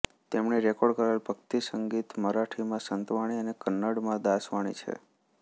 તેમણે રેકોર્ડ કરેલ ભક્તિસંગીત મરાઠીમાં સંતવાણી અને કન્નડમાં દાસવાણી છે